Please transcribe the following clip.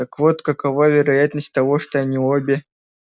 так вот какова вероятность того что они обе